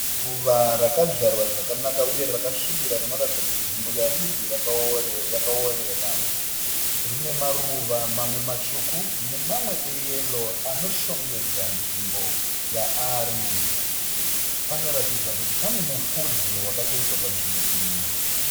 Ruva rakadzvarwa zvakanaka uye rakasvibira rinoratidza kuti nzvimbo yariri yakaoerera. Rine maruva mamwe matsvuku nemamwe eyero anoshongedza nzvimbo yaari. Panoratidza kuti pane mufudze wakatoiswa panzvimbo iyi.